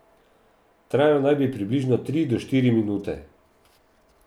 Trajal naj bi približno tri do štiri minute.